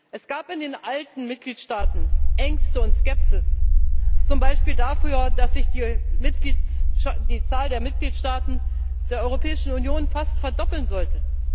Es gab in den alten Mitgliedstaaten Ängste und Skepsis, zum Beispiel darüber, dass sich die Zahl der Mitgliedstaaten der Europäischen Union fast verdoppeln sollte.